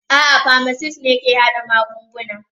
A'a, pharmacists ne ke haɗa magungunana.